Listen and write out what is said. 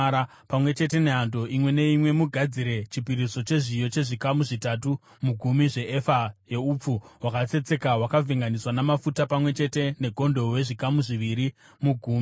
Pamwe chete nehando imwe neimwe mugadzire chipiriso chezviyo, chezvikamu zvitatu mugumi zveefa yeupfu hwakatsetseka, hwakavhenganiswa namafuta; pamwe chete negondobwe, zvikamu zviviri mugumi;